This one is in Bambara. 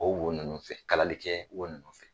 O won ninnu fɛ kalali kɛ won ninnu fɛ.